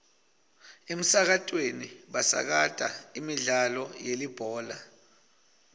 emsakatweni basakata imidlalo yelibhola